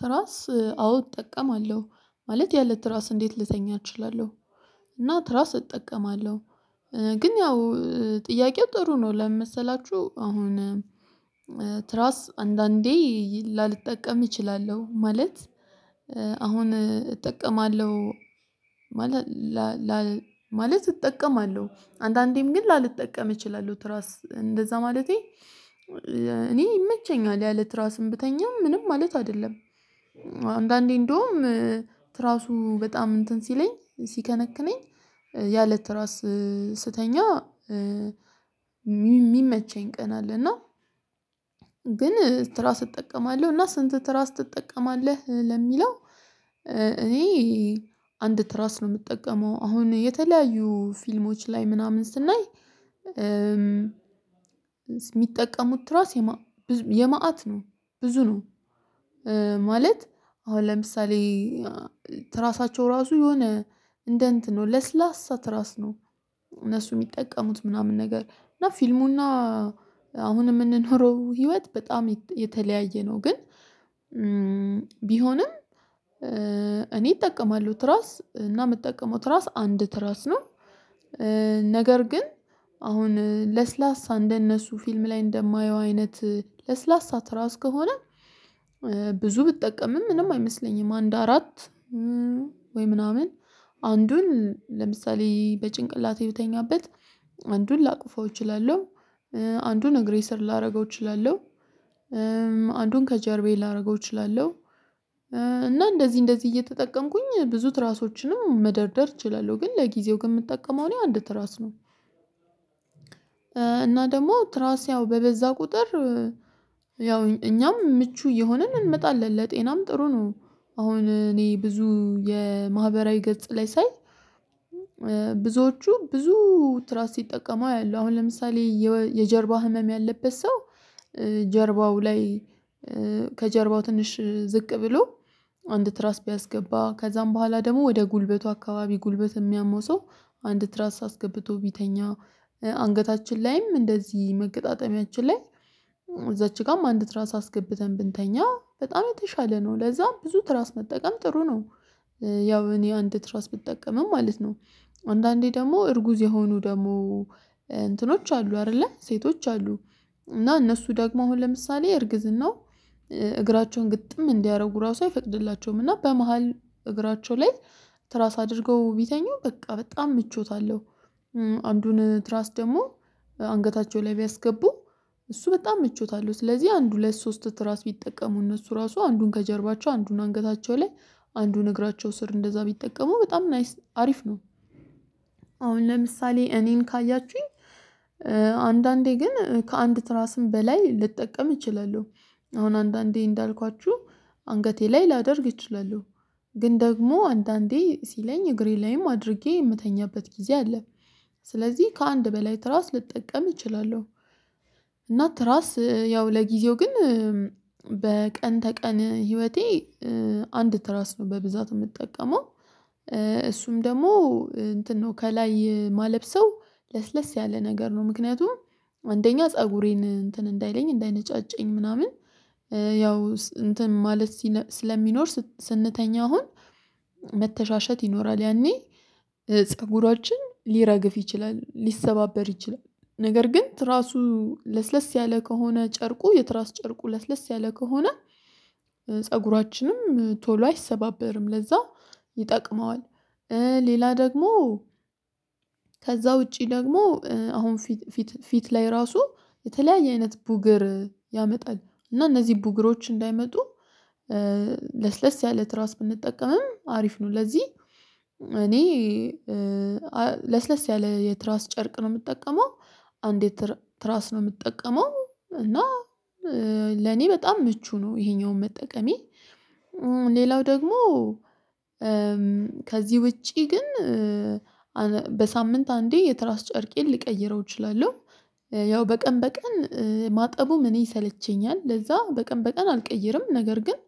ትራስ አዎ እጠቀማለሁ ማለት ያለ ትራስ እንዴት ልተኛ እችላለሁ እና ትራስ እጠቀማለሁ ግን ያው ጥያቄው ጥሩ ነው ለምን መሰላችሁ አሁን ትራስ አንዳንዴ ላልጠቀም እቺላለሁ ማለት አሁን እጠቀማለሁ ማለት እጠቀማለሁ አንዳንዴም ግን ላልጠቀም እችላለሁ ትራስ እንደዛ ማለቴ እኔ ይመቸኛል ያለ ራስም ብተኛም ምንም ማለት አይደለም አንዳንዴ እንደውም ትራሱ በጣም እንትን ሲለኝ ሲከነክነኝ ያለት ራስ ስተኛ ሚመቸኝ ቀን አለ እና ግን ትራስ እጠቀማለሁ እና ስንት ትራስ ትጠቀማለህ ለሚለው እኔ አንድ ትራስ ነው ምጠቀመው አሁን የተለያዩ ፊልሞች ላይ ምናምን ስናይ የሚጠቀሙት ትራስ የመአት ነው ብዙ ነው ማለት አሁን ለምሳሌ ትራሳቸው ራሱ የሆነ እንደ እንትን ነው ለስላሳ ትራስ ነው እነሱ የሚጠቀሙት ምናምን ነገር እና ፊልሙና አሁን ምንኖረው ህይወት በጣም የተለያየ ነው ግን ቢሆንም እኔ እጠቀማለው ትራስ እና ምጠቀመው ትራስ አንድ ትራስ ነው ነገር ግን አሁን ለስላሳ እንደነሱ ፊልም ላይ እንደማየው አይነት ለስላሳ ትራው ከሆነ ብዙ ብትጠቀምም ምንም አይመስለኝም አንድ አራት ወይ ምናምን አንዱን ለምሳሌ በጭንቅላቴ ብተኛበት አንዱን ላቅፈው እችላለሁ አንዱን እግሬ ስር ላረገው እችላለሁ አንዱን ከጀርቤ ላረገው እችላለሁ እና እንደዚህ እንደዚህ እየተጠቀምኩኝ ብዙ ትራሶችንም መደርደር እችላለሁ ግን ለጊዜው ግን ምጠቀመው እኔ አንድ ትራስ ነው እና ደግሞ ትራስ ያው በበዛ ቁጥር ያው እኛም ምቹ እየሆንን እንመጣለን ለጤናም ጥሩ ነው አሁን እኔ ብዙ የማህበራዊ ገጽ ላይ ሳይ ብዙዎቹ ብዙ ትራስ ሲጠቀሙ አያለው አሁን ለምሳሌ የጀርባ ህመም ያለበት ሰው ጀርባው ላይ ከጀርባው ትንሽ ዝቅ ብሎ አንድ ትራስ ቢያስገባ ከዛም በኋላ ደግሞ ወደ ጉልበቱ አካባቢ ጉልበት የሚያመው ሰው አንድ ትራስ አስገብቶ ቢተኛ አንገታችን ላይም እንደዚህ መገጣጠሚያችን ላይ እዛች ጋም አንድ ትራስ አስገብተን ብንተኛ በጣም የተሻለ ነው ለዛም ብዙ ትራስ መጠቀም ጥሩ ነው ያው እኔ አንድ ትራስ ብጠቀምም ማለት ነው አንዳንዴ ደግሞ እርጉዝ የሆኑ ደግሞ እንትኖች አሉ አይደለ ሴቶች አሉ እና እነሱ ደግሞ አሁን ለምሳሌ እርግዝናው እግራቸውን ግጥም እንዲያደርጉ ራሱ አይፈቅድላቸውም እና በመሃል እግራቸው ላይ ትራስ አድርገው ቢተኙ በቃ በጣም ምቾት አለው አንዱን ትራስ ደግሞ አንገታቸው ላይ ቢያስገቡ እሱ በጣም ምቾት አለው ስለዚህ አንድ ሁለት ሶስት ትራስ ቢጠቀሙ እነሱ ራሱ አንዱን ከጀርባቸው አንዱን አንገታቸው ላይ አንዱን እግራቸው ስር እንደዛ ቢጠቀሙ በጣም ናይስ አሪፍ ነው። አሁን ለምሳሌ እኔን ካያችሁኝ አንዳንዴ ግን ከአንድ ትራስም በላይ ልጠቀም እችላለሁ። አሁን አንዳንዴ እንዳልኳችሁ አንገቴ ላይ ላደርግ እችላለሁ ግን ደግሞ አንዳንዴ ሲለኝ እግሬ ላይም አድርጌ የምተኛበት ጊዜ አለ ስለዚህ ከአንድ በላይ ትራስ ልጠቀም እችላለሁ። እና ትራስ ያው ለጊዜው ግን በቀን ተቀን ህይወቴ አንድ ትራስ ነው በብዛት የምጠቀመው እሱም ደግሞ እንትን ነው ከላይ ማለብሰው ለስለስ ያለ ነገር ነው ምክንያቱም አንደኛ ፀጉሬን እንትን እንዳይለኝ እንዳይነጫጨኝ ምናምን ያው እንትን ማለት ስለሚኖር ስንተኛ አሁን መተሻሸት ይኖራል ያኔ ፀጉራችን ሊረግፍ ይችላል ሊሰባበር ይችላል ነገር ግን ትራሱ ለስለስ ያለ ከሆነ ጨርቁ የትራስ ጨርቁ ለስለስ ያለ ከሆነ ፀጉራችንም ቶሎ አይሰባበርም ለዛ ይጠቅመዋል ሌላ ደግሞ ከዛ ዉጪ ደግሞ አሁን ፊት ፊት ላይ ራሱ የተለያየ አይነት ቡግር ያመጣል እና እነዚህ ቡግሮች እንዳይመጡ ለስለስ ያለ ትራስ ብንጠቀምም አሪፍ ነው ለዚህ እኔ ለስለስ ያለ የትራስ ጨርቅ ነው የምጠቀመው አንዴ ትራስ ነው የምትጠቀመው እና ለኔ በጣም ምቹ ነው ይሄኛውን መጠቀሜ ሌላው ደግሞ ከዚህ ውጪ ግን በሳምንት አንዴ የትራስ ጨርቄን ልቀይረው እችላለሁ ያው በቀን በቀን ማጠቡም እኔ ይሰለቸኛል ለዛ በቀን በቀን አልቀይርም ነገር ግን